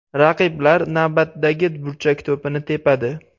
Raqiblar navbatdagi burchak to‘pini tepadi.